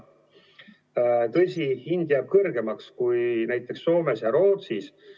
Tõsi, hind jääb kõrgemaks kui näiteks Soomes ja Rootsis.